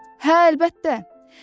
Hə, əlbəttə.